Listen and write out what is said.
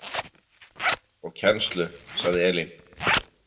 Og kennslu, sagði Elín.